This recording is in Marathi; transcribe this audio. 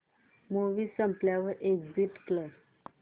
मूवी संपल्यावर एग्झिट कर